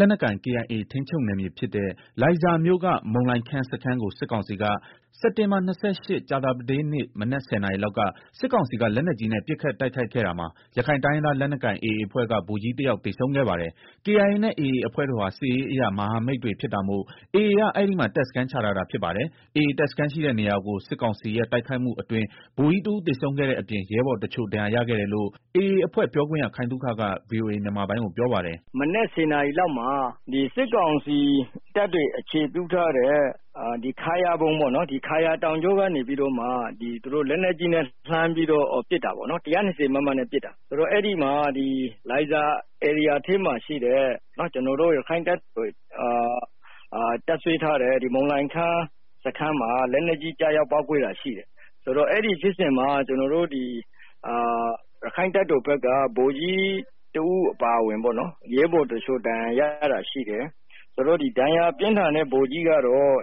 လက်နက်ကိုင် KIA ထိန်းချုပ်နယ်မြေဖြစ်တဲ့ လိုင်ဇာမြို့က မုန်လိုင်ခမ်းစခန်းကို စစ်ကောင်စီက စက်တင်ဘာ ၂၈ ကြာပတေးနေ့ မနက် ၁၀ နာရီလောက်က စစ်ကောင်စီက လက်နက်ကြီးနဲ့ ပစ်ခတ်တိုက်ခိုက်ခဲ့တာမှာ ရခိုင်တိုင်းရင်းသား လက်နက်ကိုင် AA အဖွဲ့က ဗိုလ်ကြီးတယောက် သေဆုံးခဲ့ပါတယ်။ KIA နဲ့ AA အဖွဲ့တို့ဟာ စစ်ရေးအရ မဟာမိတ်တွေဖြစ်တာမို့ AA က အဲဒီမှာ တပ်စခန်းချထားတာဖြစ်ပါတယ်။ AA တပ်စခန်းရှိတဲ့နေရာကို စစ်ကောင်စီရဲ့ တိုက်ခိုက်မှုအတွင်း ဗိုလ်ကြီးတဦး သေဆုံးခဲ့တဲ့အပြင် ရဲဘော်တချို့ ဒဏ်ရာရခဲ့တယ်လို့ AA အဖွဲ့ပြောခွင့်ရ ခိုင်သုခက VOA မြန်မာပိုင်းကို ပြောပါတယ်။ “ မနက်ဆယ်နာရီလောက်မှာ စစ်ကောင်စီတပ်တွေ အခြေပြုထားတဲ့ ခါယာဘုန်း ခါယာတောင်ကြောကနေပြီးတော့ သူတို့လက်နက်ကြီးနဲ့ ပစ်တာပေါ့နော်၊ ၁၂၀ မမနဲ့ ပစ်တာ အဲဒီမှာ ဒီလိုင်ဇာ ဧရိယာထဲမှာ ရှိတဲ့ ကျနော်တို့ ရက္ခိုင့်တပ်တော် တပ်စွဲထားတဲ့ မုန်လိုင်ခမ်းစခန်းမှာ လက်နက်ကြီး ကျရောက်ပေါက်ကွဲတာရှိတယ်၊ ဆိုတော့ အဲဒီဖြစ်စဉ်မှာ ကျနော်တို့ ရက္ခိုင့်တပ်တော်၊ ဗိုလ်ကြီးတဦးအပါအဝင် ရဲဘော်တချို့ ဒဏ်ရာ ရတာရှိတယ်၊ ဒဏ်ရာပြင်း ထန်တဲ့ ဗိုလ်ကြီးကတော့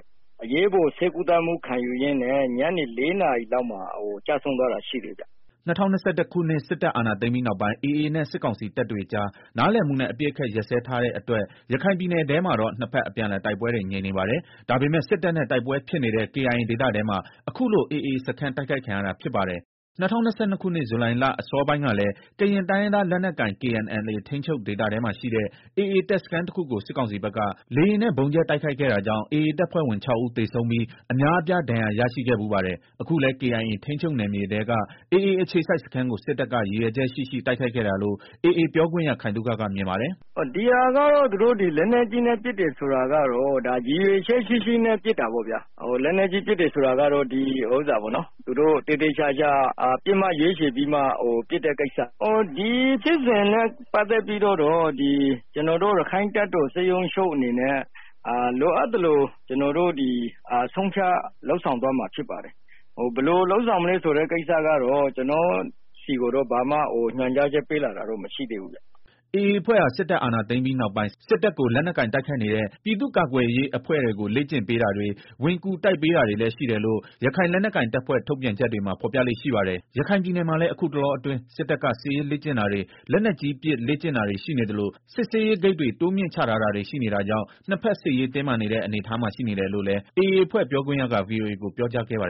အရေးပေါ် ဆေးကုသမှုခံယူရင်း ညနေ ၄ နာရီလောက်မှာ ကျဆုံးသွားတာရှိတယ်ဗျာ” ၂၀၂၁ ခုနှစ် စစ်တပ်အာဏာသိမ်းပြီးနောက်ပိုင်း AA နဲ့ စစ်ကောင်စီတပ်တွေကြား နားလည်မှုနဲ့ အပစ်အခတ်ရပ်စဲထားတဲ့အတွက် ရခိုင်ပြည်နယ်ထဲမှာတော့ ၂ ဘက် အပြန်အလှန်တိုက်ပွဲတွေ ငြိမ်နေပါတယ်။ ဒါပေမဲ့ စစ်တပ်နဲ့ တိုက်ပွဲဖြစ်နေတဲ့ KIA ဒေသထဲမှာ ခုလို AA စခန်းတိုက်ခိုက်ခံရတာဖြစ်ပါတယ်။ ၂၀၂၂ ခုနှစ်ဇူလိုင်လ အစောပိုင်းကလည်း ကရင်တိုင်းရင်းသားလက်နက်ကိုင် KNLA ထိန်းချုပ်ဒေသထဲမှာရှိတဲ့ AA တပ်စခန်းတခုကို စစ်ကောင်စီဘက်က လေယာဉ်နဲ့ ဗုံးကြဲ တိုက်ခိုက်ခဲ့တာကြောင့် AA တပ်ဖွဲ့ဝင် ၆ ဦးသေဆုံးပြီး အများအပြားဒဏ်ရာရရှိခဲ့ဖူးပါတယ်။ အခုလည်း KIA ထိမ်းချုပ်နယ်မြေထဲက AA အခြေစိုက်စခန်းကို စစ်တပ်က ရည်ရွယ်ချက်ရှိရှိ တိုက်ခိုက်တာလို့ AAပြောခွင့်ရ ခိုင်သုခက မြင်ပါတယ်။ “ ဒီဟာကတော့ သူတို့ လက်နက်ကြီးနဲ့ ပစ်တယ်ဆိုတာကတော့ ရည်ရွယ်ချက်ရှိရှိ ပစ်တာ ပေါ့ဗျာ၊ သူတို့ သေသေချာချာ ပစ်မှတ်ရွေးချယ်ပြီးမှ ပစ်တဲ့ ကိစ္စဖြစ်တယ်။ ဒီဖြစ်စဉ်နဲ့ ပတ်သတ်ပြီးတော့ ကျနော်တို့ ရက္ခိုင့်တပ်တော် စစ်ရုံးချုပ်အနေနဲ့ လိုအပ်သလို ဆုံးဖြတ်လုပ် ဆောင်သွားမှာ ဖြစ်ပါတယ်၊ ဘယ်လိုလုပ်မယ်ဆိုတဲ့ ကိစ္စကတော့ ကျနော့်ဆီကို ဘာမှ ညွန်ကြားချက်ပေးလာတာမရှိသေးဘူးဗျာ။” AA အဖွဲ့ဟာ စစ်တပ်အာဏာသိမ်းပြီး နောက်ပိုင်း စစ်တပ်ကို လက်နက်ကိုင် တိုက်ခိုက်နေတဲ့ ပြည်သူ့ကာကွယ်ရေးအဖွဲ့တွေကို လေ့ကျင့်ပေးတာတွေ၊ ဝင်ကူတိုက်ပေးတာတွေလည်း ရှိတယ်လို့ ရခိုင်လက်နက်ကိုင်တပ်ဖွဲ့ထုတ်ပြန်ချက်တွေမှာ ဖော်ပြလေ့ရှိပါတယ်။ ရခိုင်ပြည်နယ်မှာလည်း အခုတလောအတွင်း စစ်တပ်က စစ်ရေးလေ့ကျင့်တာတွေ လက်နက်ကြီးပစ်လေ့ကျင့်တာတွေရှိနေသလို စစ်ဆေးရေးဂိတ်တွေ တိုးမြင့်ချထားတာ တွေရှိနေတာကြောင့် နှစ်ဖက်စစ်ရေး တင်းမာနေတဲ့ အနေအထားမှာရှိနေတယ်လို့လည်း AA အဖွဲ့ပြောခွင့်ရက ဗွီအိုအေကို ပြောကြားခဲ့ပါတယ်။